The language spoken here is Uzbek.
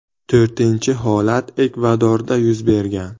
To‘rtinchi holat Ekvadorda yuz bergan.